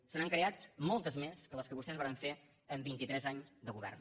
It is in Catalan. se n’han creat moltes més que les que vostès varen fer en vintitres anys de govern